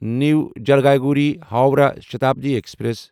نیو Jalpaiguri Howrah Shatabdi express